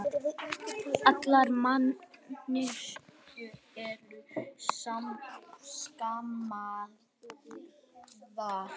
Allar manneskjur eru skapaðar jafnar